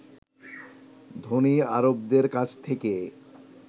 ধনী আরবদের কাছ থেকে